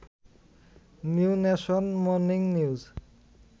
new nation, morning news